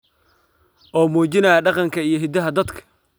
oo muujinaya dhaqanka iyo hiddaha dadka.